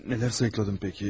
Nələr sayıqladım bəs?